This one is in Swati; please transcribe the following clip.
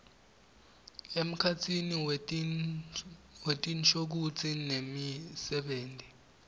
emkhatsini wetinshokutsi nemisebenti